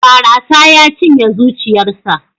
Barasa ya cinye zuciyarsa.